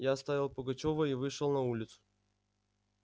я оставил пугачёва и вышел на улицу